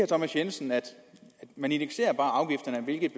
thomas jensen at man indekserer bare afgifterne hvilket